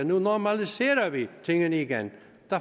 nu normaliserer vi tingene igen der